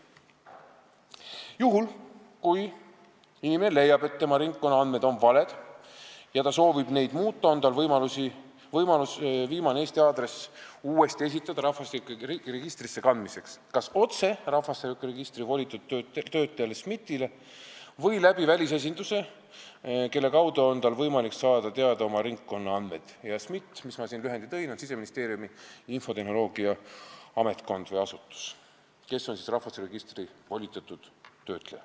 Juhul, kui inimene leiab, et tema ringkonnaandmed on valed ja ta soovib neid muuta, on tal võimalus viimane Eesti aadress uuesti esitada rahvastikuregistrisse kandmiseks kas otse rahvastikuregistri volitatud töötlejale SMIT-ile või välisesindusele, kelle kaudu on tal võimalik saada teada oma ringkonnaandmeid.